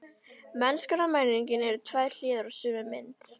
Mennskan og menningin eru tvær hliðar á sömu mynt.